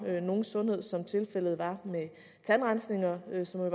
nogen sundhed som tilfældet var med tandrensninger